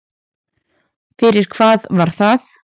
Fyrir hvað var það?